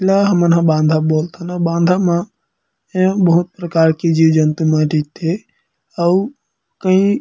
एला हमन हा बांधा बोलथन अऊ बाँधा म बहुत प्रकार के जीव-जंतु मन रईथे अऊ कई--